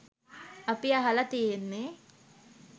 අපි අහල තියෙන්නේ